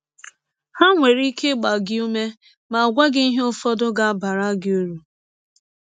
Ha nwere ike ịgba gị ụme ma gwa gị ihe ụfọdụ ga - abara gị ụrụ.